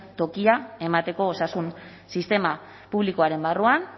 tokia emateko osasun sistema publikoaren barruan